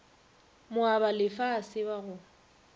moabalefa a se ba go